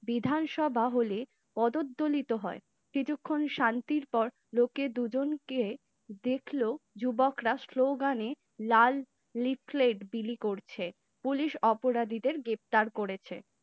বিধানসভা হলে পদদলিত হয় কিছুক্ষণ শান্তির পর লোকে দুজনকে দেখল, যুবকরা slogan এ লাল লিফলেট বিলি করছে পুলিশ অপরাধীদের গ্রেপ্তার করেছে